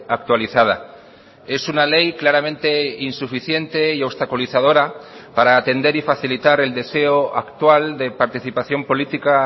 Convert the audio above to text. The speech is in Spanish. actualizada es una ley claramente insuficiente y obstaculizadora para atender y facilitar el deseo actual de participación política